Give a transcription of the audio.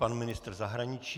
Pan ministr zahraničí.